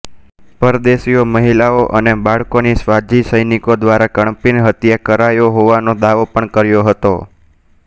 પરદેશીઓ મહિલાઓ અને બાળકોની સ્વાઝી સૈનિકો દ્વારા કરપીણ હત્યા કરાઈ હોવાનો દાવો પણ કર્યો હતો